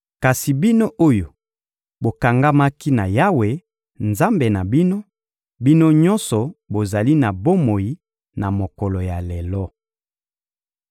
Kasi bino oyo bokangamaki na Yawe, Nzambe na bino, bino nyonso bozali na bomoi na mokolo ya lelo.